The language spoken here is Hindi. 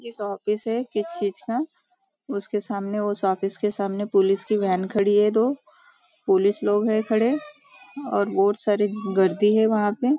एक ऑफिस है किसी चीज़ का उसके सामने उस ऑफिस के सामने पुलिस की वेन खड़ी है दो पुलिस लोग हैं खड़े और बहुत सारी गर्दी है वहाँ पे।